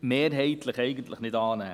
mehrheitlich nicht annehmen.